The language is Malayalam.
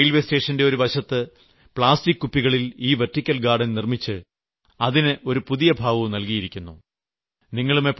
എന്നിട്ട് റെയിൽവേ സ്റ്റേഷന്റെ ഒരു വശത്ത് പ്ലാസ്റ്റിക് കുപ്പികളിൽ ഈ വെർട്ടിക്കൽ ഗാർഡൻ നിർമ്മിച്ച് അതിന് ഒരു പുതിയ ഭാവവും നൽകിയിരിക്കുന്നു